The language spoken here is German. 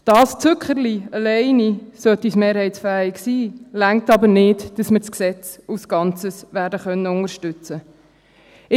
Dieses Zückerchen alleine, sollte es mehrheitsfähig sein, reicht jedoch nicht, damit wir das Gesetz als Ganzes werden unterstützen können.